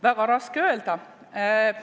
Väga raske öelda.